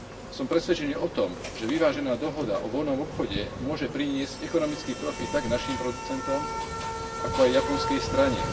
Som presvedčený o tom, že vyvážená dohoda o voľnom obchode môže priniesť ekonomický profit tak našim producentom, ako aj japonskej strane.